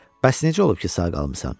Bəs necə olub ki, sağ qalmısan?